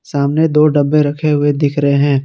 सामने दो डब्बे रखे हुए दिख रहे हैं।